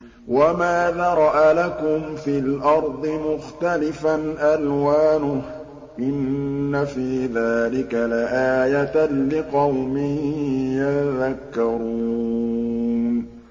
وَمَا ذَرَأَ لَكُمْ فِي الْأَرْضِ مُخْتَلِفًا أَلْوَانُهُ ۗ إِنَّ فِي ذَٰلِكَ لَآيَةً لِّقَوْمٍ يَذَّكَّرُونَ